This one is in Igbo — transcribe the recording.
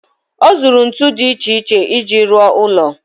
Ọ zụrụ ntu dị iche iche iji ruo ụlọ.